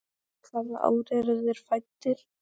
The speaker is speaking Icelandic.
Hvaða ár eru þeir fæddir?